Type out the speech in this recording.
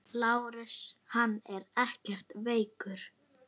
LÁRUS: Hann er ekkert veikur.